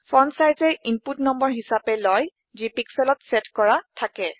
Fontsizeএ input number হিছাপে লয় যি pixelত চেট কৰা থাকে